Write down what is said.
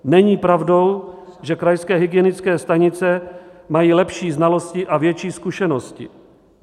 Není pravdou, že krajské hygienické stanice mají lepší znalosti a větší zkušenosti.